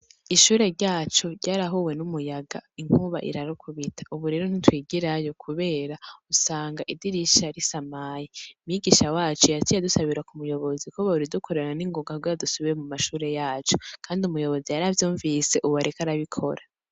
Ishure ryacu ryarahuwe n'umuyaga inkuba irarikubita, ubu rero ntitwigirayo, kubera usanga idirisha ri samayi migisha wacu yatiye dusabirwa ku muyobozi kuba uridukorerana n'ingonga rwadusubire mu mashure yacu, kandi umuyobozi yaravyumvise, ubu areke arabikora.